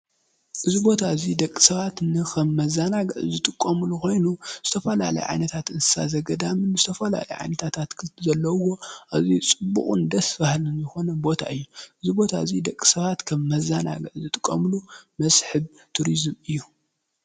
እዚ ቦታ እዚ ደቂ ሰባት ንከም መዘናግዒ ዝጥቀምሉ ኮይኑ ዝተፈላልያ ዓይነታት እንስሳ ዝገዳም ዝተፈላለዩ ዓይነታት ኣትክልቲ ዘለዉዎ ኣዝዩ ፅቡቁን ደስ በሃልን ዝኮነ ቦታ እዩ ። እዚ ቦታ እዚ ደቂ ሰባት ከም መዘናግዒ ዝጥቀምሉ መስሕብ ቱሪዝም እዩ ።